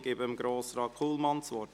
Ich gebe Grossrat Kullmann das Wort.